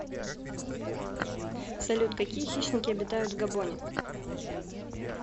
салют какие хищники обитают в габоне